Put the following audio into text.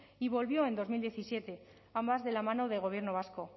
y volvió en dos mil diecisiete ambas de la mano del gobierno vasco